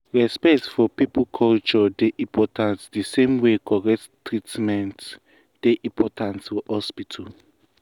respect for people culture dey important the same way correct treatment dey important for hospital.